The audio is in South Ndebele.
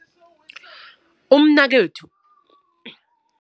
Umnakwethu